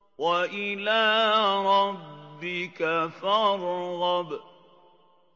وَإِلَىٰ رَبِّكَ فَارْغَب